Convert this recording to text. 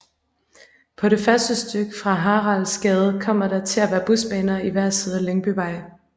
På det første stykke fra Haraldsgade kommer der til at være busbaner i hver side af Lyngbyvej